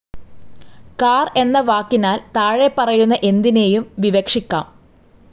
Car എന്ന വാക്കിനാൽ താഴെപ്പറയുന്ന എന്തിനേയും വിവക്ഷിക്കാം.